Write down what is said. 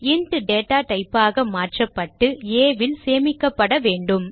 int data type ஆக மாற்றப்பட்டு a ல் சேமிக்கப்பட வேண்டும்